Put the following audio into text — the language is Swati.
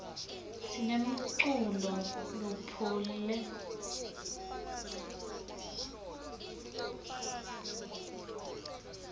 sinemculo lophoule